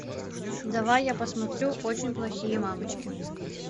давай я посмотрю очень плохие мамочки